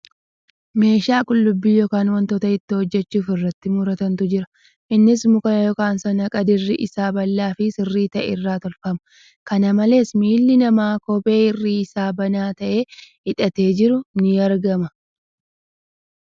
Meeshaa qullubbii yookan wantoota ittoo hojjachuuf irratti murantu jira. Innis muka yookan saanqaa dirri isaa bal'aa fi sirrii ta'e irraa tolfama. Kana malees, miilli namaa kophee irri isaa banaa ta'e hidhatee jiru ni argama.